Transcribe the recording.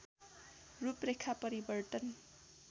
रूपरेखा परिवर्तन